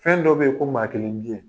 Fɛn dɔ be ye ko maakelen biyɛn